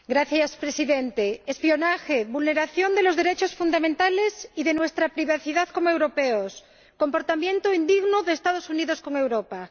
Señor Presidente, espionaje, vulneración de los derechos fundamentales y de nuestra privacidad como europeos, comportamiento indigno de los Estados Unidos con Europa.